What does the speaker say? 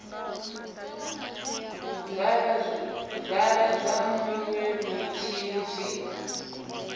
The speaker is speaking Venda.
vala zwa minwe mitshini zwi